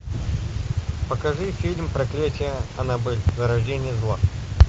покажи фильм проклятие аннабель зарождение зла